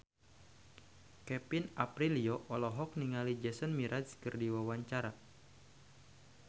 Kevin Aprilio olohok ningali Jason Mraz keur diwawancara